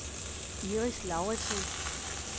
Iris Lauritsen